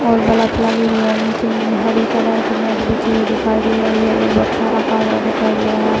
और बलप लगी हुई है नीचे हरी कलर की नेट बिछी हुई दिखाई दे रही है एक बक्सा रखा हुआ दिखाई दे रहा है।